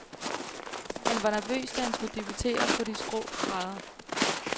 Han var nervøs, da han skulle debutere på de skrå brædder.